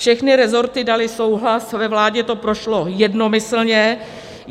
Všechny resorty daly souhlas, ve vládě to prošlo jednomyslně.